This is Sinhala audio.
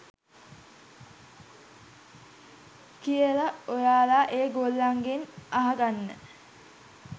කියලා ඔයාලා ඒ ගොල්ලන්ගෙන් අහගන්න.